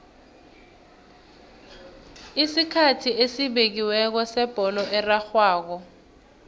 isikhathi esibekiweko sebholo erarhwako